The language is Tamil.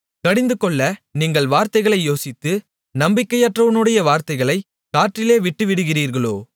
கடிந்துகொள்ள நீங்கள் வார்த்தைகளை யோசித்து நம்பிக்கையற்றவனுடைய வார்த்தைகளைக் காற்றிலே விட்டுவிடுகிறீர்களோ